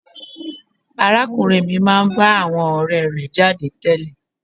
Arákùnrin mi máa ń bá àwọn ọ̀rẹ́ẹ rẹ̀ jáde tẹ́lẹ̀.